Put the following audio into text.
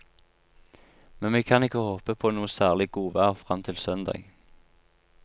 Men vi kan ikke håpe på noe særlig godvær frem til søndag.